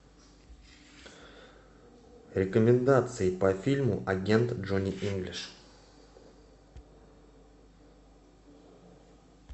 рекомендации по фильму агент джонни инглиш